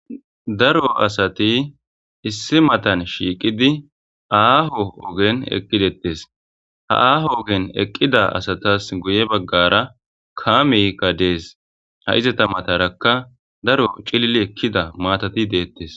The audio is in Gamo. Daro asati issi matan shiiqidi aaho ogen eqqidettes ha aaho ogen eqqida asatas guye baggara kaami gadees ha izata matarakka daro cilli ekkida maatati deettes.